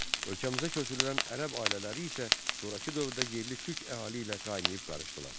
Ölkəmizə köçürülən ərəb ailələri isə sonrakı dövrdə yerli türk əhali ilə qaynayıb qarışdılar.